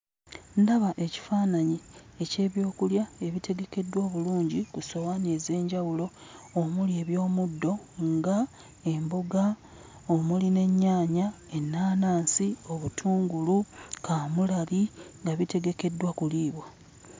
Ndaba ekifaananyi eky'ebyokulya ebitegekeddwa obulungi ku ssowaani ez'enjawulo omuli eby'omuddo ng'emboga, omuli n'ennyaanya, ennaanansi, obutungulu, kaamulali, nga bitegekeddwa kuliibwa.